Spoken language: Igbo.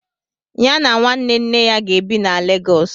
Ya na nwanne nne ya ga-ebi na Lagos.